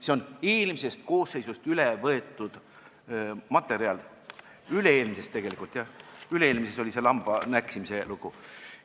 See on eelmisest koosseisust üle võetud materjal, üle-eelmisest tegelikult, üle-eelmises koosseisus oli see lamba rohunäksimise lugu.